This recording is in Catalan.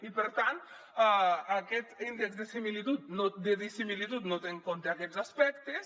i per tant aquest índex de dissimilitud no té en compte aquests aspectes